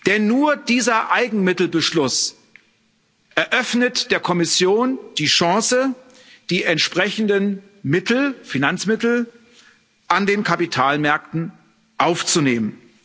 Denn nur dieser Eigenmittelbeschluss eröffnet der Kommission die Chance, die entsprechenden Finanzmittel an den Kapitalmärkten aufzunehmen.